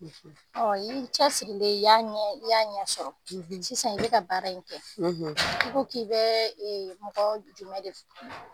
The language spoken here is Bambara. Ɔ n'i cɛsirilen i y'a ɲɛ sɔrɔ sisan i bɛ ka baara in kɛ, i ko k'i bɛ mɔgɔ jumɛn de fɛ